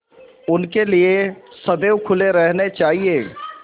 उनके लिए सदैव खुले रहने चाहिए